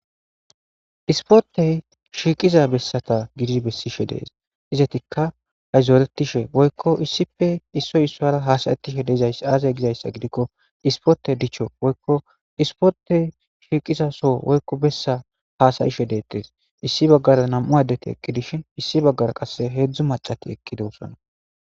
ispotey shiiqiza bessata gidi bessishe dees izatikka hayzoeretishe boykko issife issoy issoara hasayetishe deezay aase gizayssa gidikko ispote dicho boykko ispotey shiiqiza so woykko bessa hasayishe deettes issi baggara nam7u addeti ekki dishin issi baggara qasse heedzdzu macati ekkide ussana